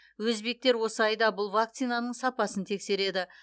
өзбектер осы айда бұл вакцинаның сапасын тексереді